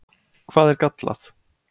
Hvað er gallað?